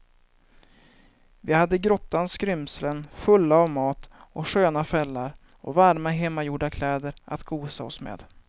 Vi hade grottans skrymslen fulla av mat och sköna fällar och varma hemgjorda kläder att gosa oss med.